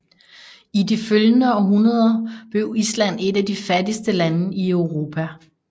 I de følgende århundreder blev Island et af de fattigste lande i Europa